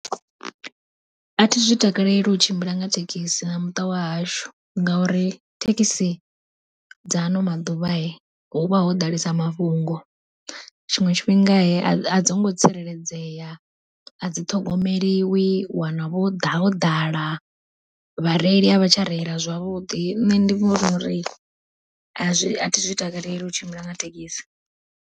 Athi zwi takaleli u tshimbila nga thekhisi na muṱa wahashu, ngauri thekhisi dza ano maḓuvha huvha ho ḓalesa mafhungo. Tshiṅwe tshifhinga adzi ngo tsireledzea a dzi ṱhogomeliwi u wana vho ḓa ho ḓala vhareili a vha tsha reila zwavhuḓi, nṋe ndi vhona uri athi zwi takaleli u tshimbila nga thekhisi.